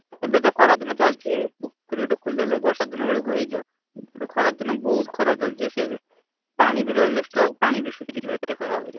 ଏବେତ ଖରାଦିନ ଚାଲିଛି ଏଇଠି। ପୋଖରୀ ଗୋଟେ ଖୋଳିଦେଲେ ବର୍ଷାଦିନ ବେଳକୁ ହେଇଯିବ। ଏବେ ଖରାଦିନ ବହୁତ୍ ଖରା ଚାଲିଛି। ପାଣି ବି ରହିଲେ stock ପାଣି ବି ଶୁଖିଯିବ ଏତେ ଖରା ହଉଛି।